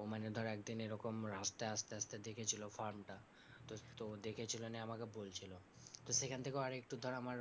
ও মানে ধর একদিন এরকম রাস্তায় আসতে আসতে দেখেছিল farm টা, তো দেখেছে মানে আমাকে বলছিল, তো সেখান থেকেও আর একটু ধর আমার